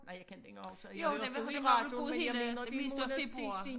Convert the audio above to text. Nej jeg kan ikke huske jeg hørte det jo i men øh det meste af februar